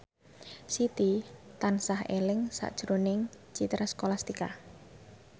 Siti tansah eling sakjroning Citra Scholastika